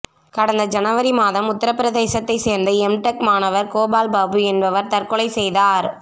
கடந்த ஜனவரி மாதம் உத்தரப் பிரதேசத்தைச் சேர்ந்த எம்டெக் மாணவர் கோபால் பாபு என்பவர் தற்கொலை செய்தார்